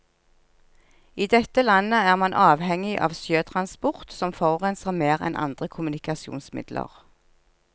I dette landet er man avhengig av sjøtransport, som forurenser mer enn andre kommunikasjonsmidler.